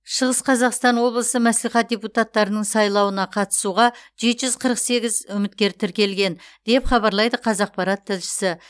шығыс қазақстан облысы мәслихат депутаттарының сайлауына қатысуға жеті жүз қырық сегіз үміткер тіркелген деп хабарлайды қазақпарат тілшісі